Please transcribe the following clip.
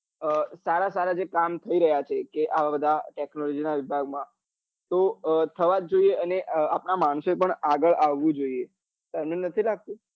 અ સારા સારા જે કામ થઇ રહ્યા છે અવ બધા technology નાં વિભાગ માં તો અ થવા જ જોઈએ ને આપડા માણસો ને પણ આગળ આવું જ જોઈએ તને નથી લાગતું?